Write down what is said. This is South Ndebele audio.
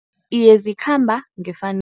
Iye zikhamba ngefanelo